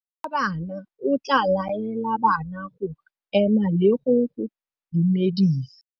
Morutabana o tla laela bana go ema le go go dumedisa.